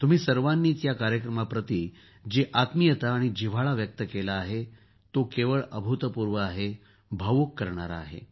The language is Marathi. तुम्ही सर्वांनीच या कार्यक्रमाप्रती जी आत्मीयता आणि जिव्हाळा व्यक्त केला आहे तो केवळ अभूतपूर्व आहे भावुक करणारा आहे